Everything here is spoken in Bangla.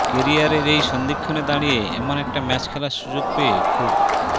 কেরিয়ারের এই সন্ধিক্ষণে দাঁড়িয়ে এমন একটা ম্যাচ খেলার সুযোগ পেয়ে খুব